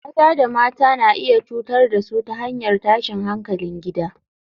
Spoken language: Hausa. Maza da mata na iya cutar da su ta hanyar tashin hankalin gida